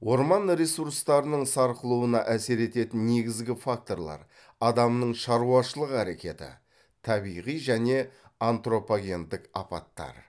орман ресурстарының сарқылуына әсер ететін негізгі факторлар адамның шаруашылық әрекеті табиғи және антропогендік апаттар